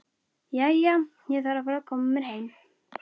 Jæja, ég þarf að fara að koma mér heim